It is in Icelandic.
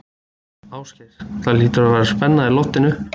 Ásgeir, það hlýtur að vera spenna á í loftinu?